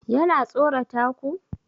Yana tsorata ku?